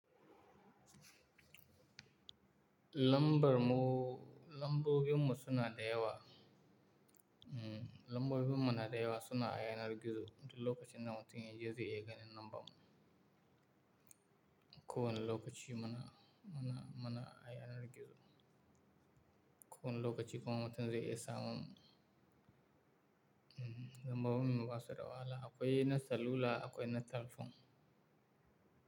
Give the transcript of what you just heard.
Lambar mu-- lambobin mu suna da yawa. Mm, lambobi mu suna da yawa suna aya nar gizo duk lokacin da mutum ya je zai iya ganin lambar mu. Ko wani lokaci muna, muna, muna ayanar gizo. Ko wani lokaci kuma mutum zai iya samun mu, mm, lambobin mu basu da wahala. Akwai na salula, akwai na kan fon.